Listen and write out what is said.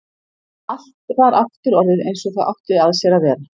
Allt var aftur orðið einsog það átti að sér að vera.